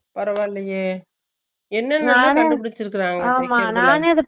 பரவாலயே silent